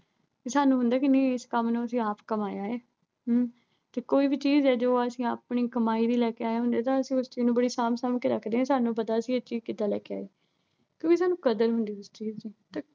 ਵੀ ਸਾਨੂੰ ਹੁੰਦਾ ਕਿ ਨਈ ਇਸ ਕੰਮ ਨੂੰ ਅਸੀਂ ਆਪ ਕਮਾਇਆ ਏ। ਨ ਹਮ ਤੇ ਕੋਈ ਵੀ ਚੀਜ਼ ਐ ਜੋ ਅਸੀਂ ਆਪਣੀ ਕਮਾਈ ਦੀ ਲੈ ਕੇ ਆਏ ਹੁੰਨੇ ਆਂ। ਅਸੀਂ ਉਸ ਚੀਜ਼ ਨੂੰ ਬੜੀ ਸਾਂਭ ਸਾਂਭ ਕੇ ਰੱਖਦੇ ਆਂ। ਸਾਨੂੰ ਪਤਾ ਕਿ ਅਸੀਂ ਉਹ ਚੀਜ਼ ਕਿਵੇਂ ਲੈ ਕੇ ਆਏ। ਕਿਉਂ ਕਿ ਸਾਨੂੰ ਕਦਰ ਹੁੰਦੀ ਆ, ਉਸ ਚੀਜ਼ ਦੀ।